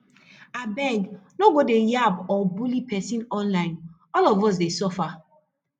abeg no go dey yab or bully pesin online all of us dey suffer